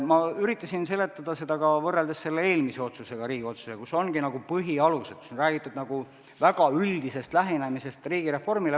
Ma üritasin seda seletada ka võrreldes eelmise Riigikogu otsusega, kus ongi põhialused ja kus on räägitud väga üldisest lähenemisest riigireformile.